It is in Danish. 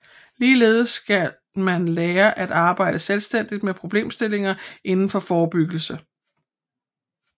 Ligeledes skal man lære at arbejde selvstændigt med problemstillinger inden for forebyggelse